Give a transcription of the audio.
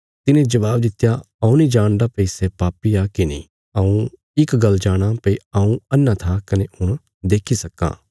तिने जबाब दित्या हऊँ नीं जाणदा भई सै पापी आ की नीं हऊँ इक गल्ल जाणाँ भई हऊँ अन्हा था कने हुण देक्खी सक्कां